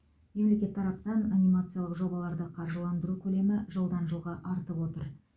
мемлекет тарапынан анимациялық жобаларды қаржыландыру көлемі жылдан жылға артып отыр